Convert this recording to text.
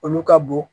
Olu ka bon